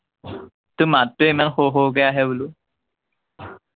তোৰ মাতটোৱেই ইমান সৰু সৰুকে আহে বোলো